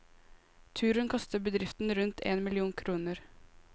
Turen koster bedriften rundt én million kroner.